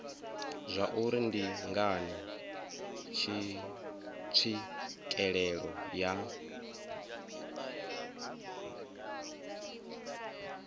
zwauri ndi ngani tswikelelo ya